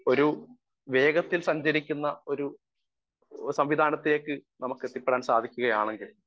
speaker 1 ഒരു വേഗത്തിൽ സഞ്ചരിക്കുന്ന ഒരു സംവിധാനത്തിലേക്ക് നമുക്ക് എത്തിപ്പെടാൻ സാധിക്കുകയാണെങ്കിൽ